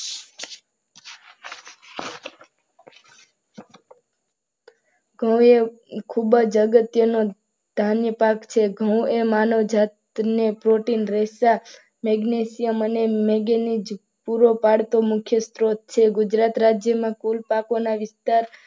ઘઉં ખૂબ જ અગત્યનું ધાન્ય પાક છે. ઘઉં એ માનવ જાતિને પ્રોટીન પરેશા મેગ્નેશિયમ અને મેંગેનીઝ પૂરતો મુખ્ય સ્ત્રોત છે. ગુજરાત રાજ્યમાં કુલ પાકોના વિસ્તાર,